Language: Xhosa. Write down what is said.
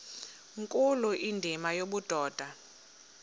nkulu indima yobudoda